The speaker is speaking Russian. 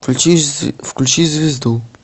включи звезду